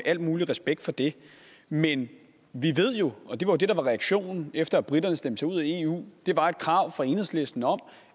al mulig respekt for det men vi ved jo og det var det der var reaktionen efter at briterne stemte sig ud af eu der var et krav fra enhedslisten om